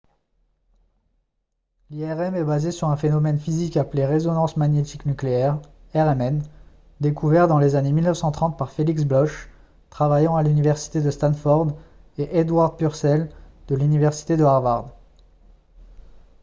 l’irm est basée sur un phénomène physique appelé résonance magnétique nucléaire rmn découvert dans les années 1930 par felix bloch travaillant à l’université de stanford et edward purcell de l’université de harvard